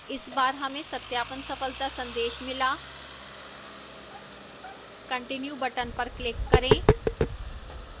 इस बार हमें सत्यापन सफलता का संदेश मिला continue button पर click करें